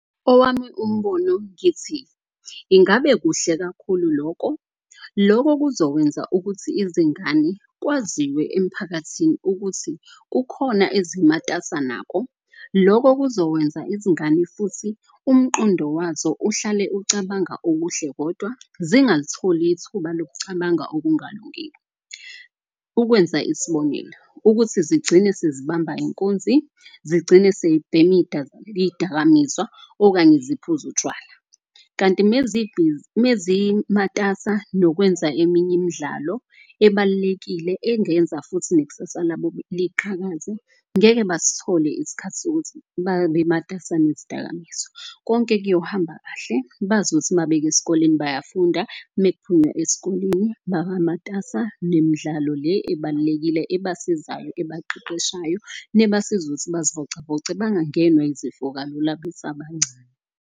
Owami umbono ngithi ingabe kuhle kakhulu loko, loko kuzokwenza ukuthi izingane kwaziwe emphakathini ukuthi kukhona ezimatasa nako. Loko kuzokwenza izingane futhi umqondo wazo uhlale ucabanga okuhle kodwa zingalitholi ithuba lokucabanga okungalungile. Ukwenza isibonelo, ukuthi zigcine sezibamba inkunzi, zigcine sebhemi iyidakamizwa okanye ziphuze utshwala. Kanti mezimatasa nokwenza eminye imidlalo ebalulekile engenza futhi nekusasa labo liqhakaze. Ngeke basithole isikhathi sokuthi babe matasa nezidakamizwa. Konke kuyohamba kahle bazi ukuthi mabeke eskoleni bayafunda. Mekuphunywa esikoleni baba matasa nemidlalo le ebalulekile esibasizayo. Ebaqeqeshayo nebasiza ukuthi bazivocavoce bangangenwa izifo kalula besabancane.